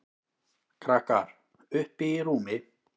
Krakkar: Uppi í rúmi.